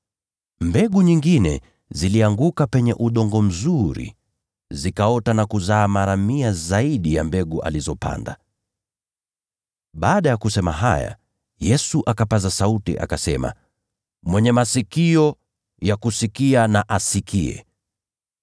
Mbegu nyingine zilianguka kwenye udongo mzuri. Zikaota na kuzaa mara mia moja zaidi ya mbegu alizopanda.” Baada ya kusema haya, Yesu akapaza sauti, akasema, “Mwenye masikio ya kusikia, na asikie.”